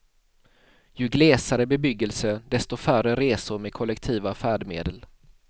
Ju glesare bebyggelse desto färre resor med kollektiva färdmedel.